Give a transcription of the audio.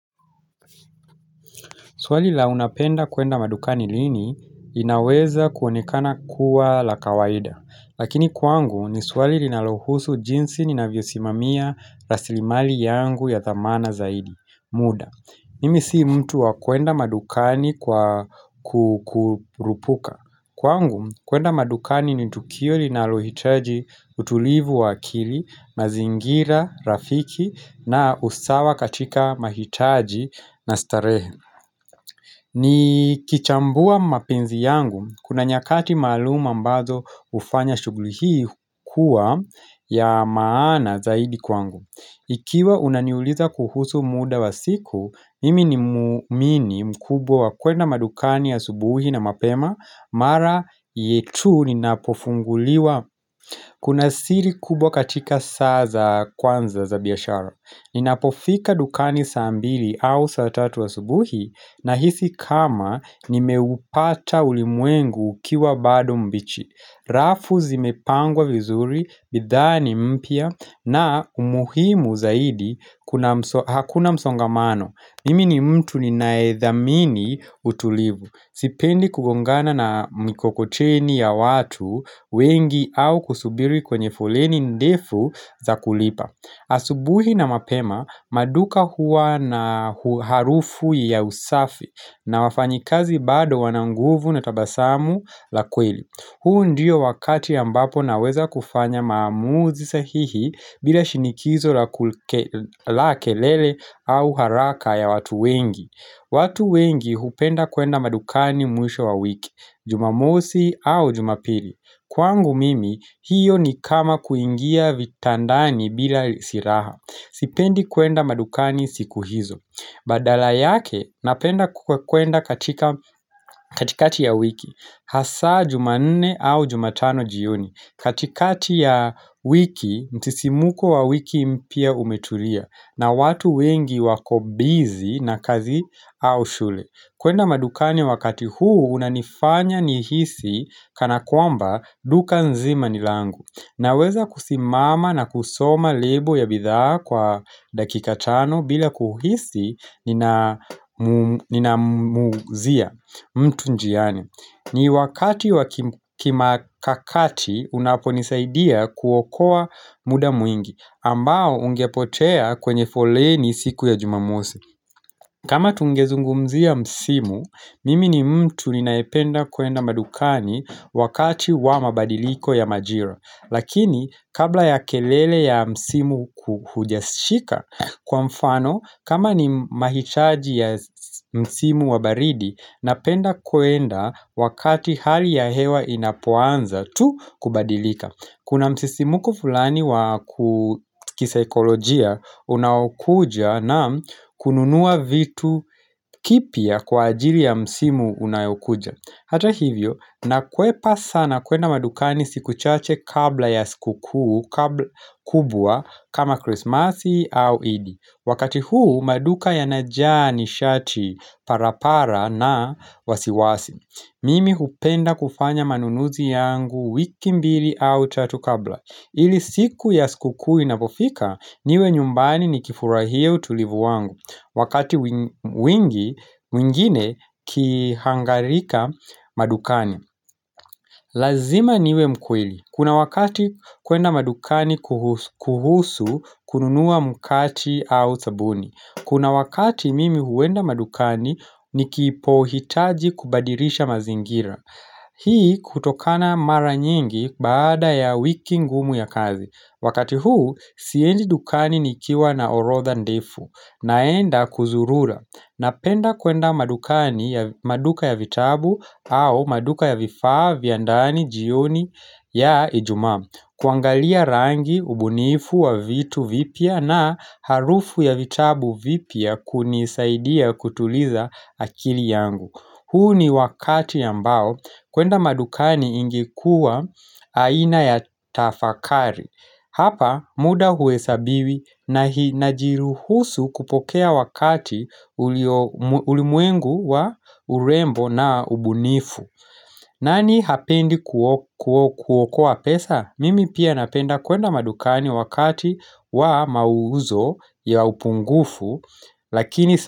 Swali la unapenda kuenda madukani lini inaweza kuonekana kuwa la kawaida Lakini kwangu ni swali linalohusu jinsi ninavyo simamia rasilimali yangu ya thamana zaidi muda, mimi si mtu wa kuenda madukani kwa kurupuka Kwangu kuenda madukani ni tukio linalohitaji utulivu wa akili, mazingira, rafiki na usawa katika mahitaji na starehe ni kichambua mapenzi yangu, kuna nyakati maalum ambazo hufanya shuguli hii kuwa ya maana zaidi kwangu Ikiwa unaniuliza kuhusu muda wa siku, mimi ni muumini mkubwa wa kwenda madukani asubuhi na mapema Mara yetu ni napofunguliwa Kuna siri kubwa katika saa za kwanza za biashara Ninapofika dukani saa mbili au saa tatu asubuhi na hisi kama nimeupata ulimwengu ukiwa bado mbichi rafu zimepangwa vizuri, bidhaa ni mpya na umuhimu zaidi kuna hakuna msongamano Mimi ni mtu ninayedhamini utulivu, sipendi kugongana na mikokoteni ya watu wengi au kusubiri kwenye foleni ndefu za kulipa asubuhi na mapema, maduka huwa na harufu ya usafi na wafanyikazi bado wananguvu na tabasamu la kweli. Hu ndio wakati ambapo naweza kufanya maamuzi sahihi bila shinikizo la kelele au haraka ya watu wengi. Watu wengi hupenda kwenda madukani mwisho wa wiki, jumamosi au jumapili. Kwangu mimi hiyo ni kama kuingia vitandani bila siraha Sipendi kwenda madukani siku hizo Badala yake napenda kukwenda katika katikati ya wiki Hasa jumanne au jumatano jioni katikati ya wiki msisimuko wa wiki mpya umeturia na watu wengi wako busy na kazi au shule kwenda madukani wakati huu unanifanya nihisi Kana kwamba duka nzima ni langu Naweza kusimama na kusoma lebo ya bidhaa kwa dakika tano bila kuhisi nina nina muzia mtu njiani ni wakati wakimakakati unapo nisaidia kuokoa muda mwingi ambao ungepotea kwenye foleni siku ya jumamosi kama tungezungumzia msimu Mimi ni mtu ninayependa kwenda madukani wakati wa mabadiliko ya majira Lakini kabla ya kelele ya msimu kuhujashika Kwa mfano kama ni mahichaji ya msimu wabaridi Napenda kuenda wakati hali ya hewa inapoanza tu kubadilika Kuna msisimuko fulani wa kisaikolojia unaokuja na kununua vitu kipya kwa ajili ya msimu unayokuja Hata hivyo na kwepa sana kwenda madukani siku chache kabla ya siku kuu kubwa kama Christmasi au idi Wakati huu maduka ya najaa ni shati parapara na wasiwasi Mimi hupenda kufanya manunuzi yangu wiki mbili au tatu kabla ili siku ya skukuu ina pofika niwe nyumbani ni kifurahia utulivu wangu wakati wingine kihangarika madukani Lazima niwe mkweli, kuna wakati kuenda madukani kuhusu kununuwa mukati au sabuni Kuna wakati mimi huenda madukani ni kipo hitaji kubadirisha mazingira Hii kutokana mara nyingi baada ya wiki ngumu ya kazi Wakati huu, siendi dukani nikiwa na orotha ndefu, naenda kuzurura, napenda kwenda madukani ya maduka ya vitabu au maduka ya vifaa, vya ndani, jioni ya ijumaa, kuangalia rangi, ubunifu wa vitu vipya na harufu ya vitabu vipya kunisaidia kutuliza akili yangu. Huu ni wakati ambao kwenda madukani ingekuwa aina ya tafakari. Hapa muda huwe sabiwi na najiruhusu kupokea wakati ulimwengu wa urembo na ubunifu. Nani hapendi kuokoa pesa? Mimi pia napenda kwenda madukani wakati wa mauzo ya upungufu lakini.